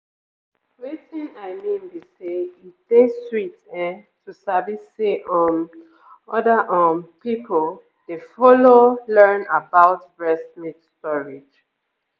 wetin i mean be say e dey sweet ehm to sabi say um other um people dey follow learn about breast milk storage